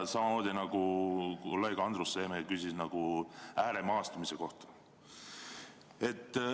Kolleeg Andrus Seeme enne küsis ääremaastumise kohta.